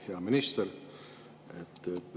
Hea minister!